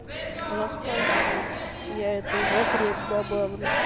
рассказывай я это в закреп добавлю